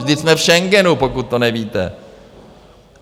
Vždyť jsme v Schengenu, pokud to nevíte.